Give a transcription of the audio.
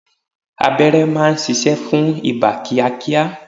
Abẹ́rẹ́ má ń ṣiṣẹ́ fún ibà kíá kíá.